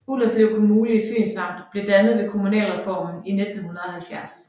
Ullerslev Kommune i Fyns Amt blev dannet ved kommunalreformen i 1970